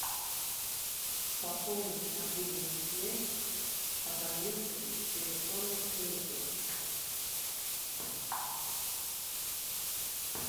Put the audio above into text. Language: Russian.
пополнить мобильную связь абоненту из телефонной книги